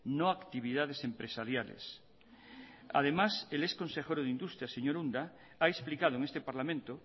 no actividades empresariales además el ex consejero de industria señor unda ha explicado en este parlamento